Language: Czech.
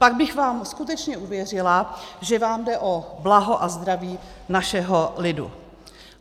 Pak bych vám skutečně uvěřila, že vám jde o blaho a zdraví našeho lidu.